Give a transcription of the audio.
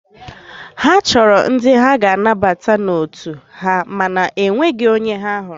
Ha chọrọ ndị ha ga-anabata n'otu ha mana enweghị onye ha hụrụ.